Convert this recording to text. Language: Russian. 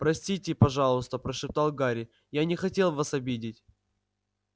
простите пожалуйста прошептал гарри я не хотел вас обидеть